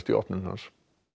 opnun hans